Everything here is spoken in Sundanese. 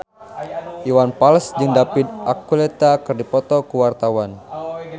Iwan Fals jeung David Archuletta keur dipoto ku wartawan